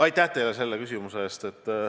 Aitäh teile selle küsimuse eest!